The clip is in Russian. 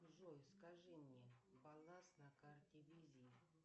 джой скажи мне баланс на карте визе